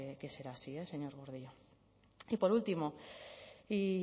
que será así eh señor gordillo y por último y